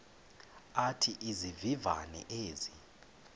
athi izivivane ezi